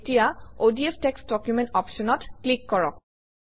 এতিয়া ODF text document অপশ্যনত click কৰক